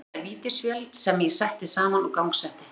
Flóttinn er vítisvél sem ég setti saman og gangsetti.